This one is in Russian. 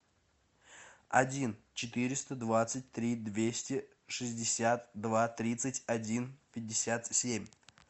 один четыреста двадцать три двести шестьдесят два тридцать один пятьдесят семь